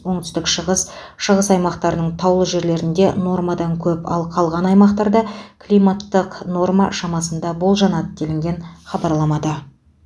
оңтүстік шығыс шығыс аймақтардың таулы жерлерінде нормадан көп ал қалған аймақтарда климаттық норма шамасында болжанады делінген хабарламада